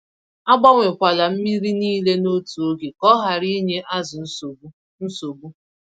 Agbanwe kwala mmírí nile n'otu ógè, kọ hara ịnye azụ nsogbu. nsogbu.